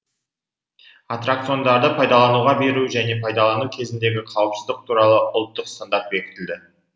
атракциондарды пайдалануға беру және пайдалану кезіндегі қауіпсіздік туралы ұлттық стандарт бекітілді